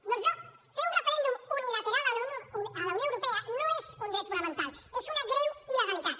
doncs no fer un referèndum unilateral a la unió europea no és un dret fonamental és una greu il·legalitat